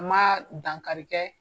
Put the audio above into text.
N ma dankarikɛ.